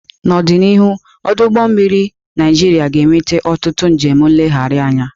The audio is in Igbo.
N'ọdịnihu, ọdụ ụgbọ mmiri Naịjiria ga-eweta ọtụtụ njem nlegharị anya.